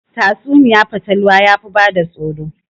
Tatsuniyar fatalwa yafi bada tsoro